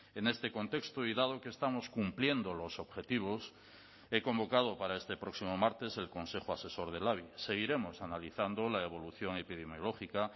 en este contexto y dado que estamos cumpliendo los objetivos he convocado para este próximo martes el consejo asesor del labi seguiremos analizando la evolución epidemiológica